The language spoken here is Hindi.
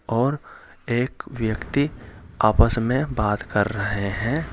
और एक व्यक्ति आपस मे बात कर रहे हैं।